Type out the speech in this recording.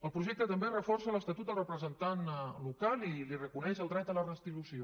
el projecte també reforça l’estatut del representant local i li reconeix el dret a la retribució